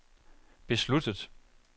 besluttet